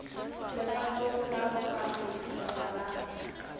legatong la bogareng kgotsa la